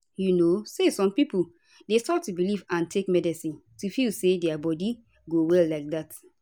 you know say some pipo dey stop to belief and take medicine to feel say dia body go well like dat